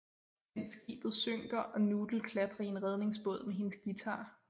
Mens skibet synker og Noodle klatrer i en redningsbåd med hendes guitar